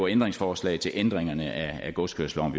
ændringsforslag til ændringerne af godskørselsloven